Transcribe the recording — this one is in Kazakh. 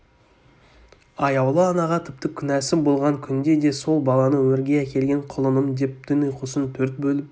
аяулы анаға тіпті күнәсі болған күнде де сол баланы өмірге әкелген құлынымдеп түн ұйқысын төрт бөліп